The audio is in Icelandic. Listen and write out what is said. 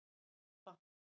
Alba